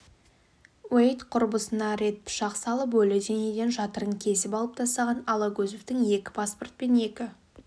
уэйд құрбысына рет пышақ салып өлі денеден жатырын кесіп алып тастаған алагөзовтың екі паспорт пен екі